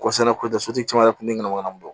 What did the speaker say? sotigi caman yɛrɛ kun tɛmɛna wo kɔnɔ